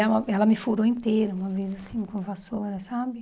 E ela ela me furou inteira uma vez, assim, com a vassoura, sabe?